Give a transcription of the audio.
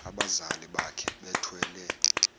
abazali bakhe bethwele